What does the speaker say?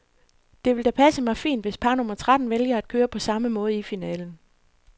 Det vil da passe mig fint, hvis par nummer tretten vælger at køre på samme måde i finalen.